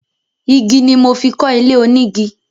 Igi ni mo fi kọ́ ilé onígi.